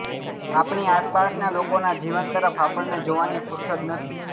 આપણી આસપાસના લોકોના જીવન તરફ આપણને જોવાની ફુરસદ નથી